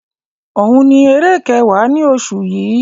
Òun ni eré kẹwa ni oṣù yi.